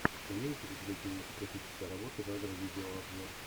имеется ли у тебя кинематографическая работа жанра видеообзор